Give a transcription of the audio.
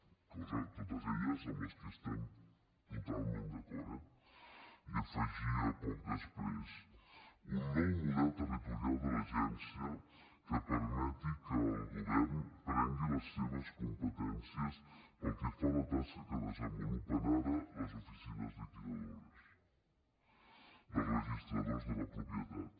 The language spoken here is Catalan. coses totes elles amb les quals estem totalment d’acord eh i afegia poc després un nou model territorial de l’agència que permeti que el govern prengui les seves competències pel que fa a la tasca que desenvolupen ara les oficines liquidadores dels registradors de la propietat